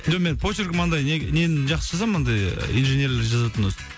жоқ мен почеркім андай нені жақсы жазамын андай инженерлі жазатын болсам